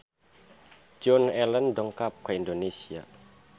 Joan Allen dongkap ka Indonesia